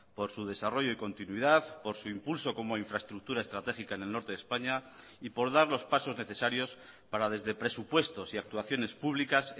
por su desarrollo y continuidad por su impulso como infraestructura estratégica en el norte de españa y por dar los pasos necesarios para desde presupuestos y actuaciones públicas